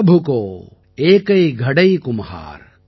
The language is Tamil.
சப் கௌ ஏகை கடை கும்ஹார்